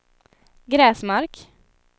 Gräsmark